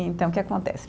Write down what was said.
Então, o que acontece?